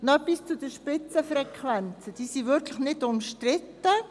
Noch etwas zu den Spitzenfrequenzen: Diese sind wirklich nicht umstritten.